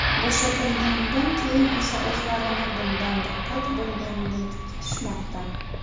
Bo‘shatilganidan keyin esa o‘zlarini bundan diqqat bo‘lgandek tutishmoqda.